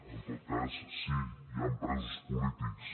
en tot cas sí hi han presos polítics